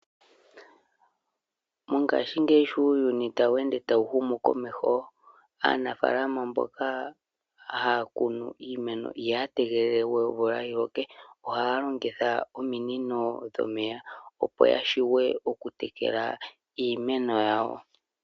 Mongaashingeyi sho uuyuni wu li tawu humu komeho, aanafaalama mboka haya kunu iimeno ihaya tegelele we omvula yiloke, ohaya longitha ominino dhomeya opo ya shiwe oku tekela iimeno yawo.